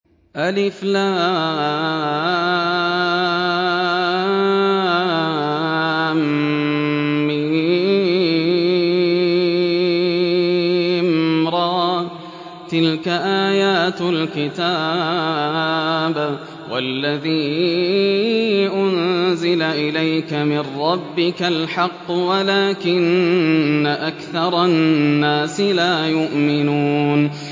المر ۚ تِلْكَ آيَاتُ الْكِتَابِ ۗ وَالَّذِي أُنزِلَ إِلَيْكَ مِن رَّبِّكَ الْحَقُّ وَلَٰكِنَّ أَكْثَرَ النَّاسِ لَا يُؤْمِنُونَ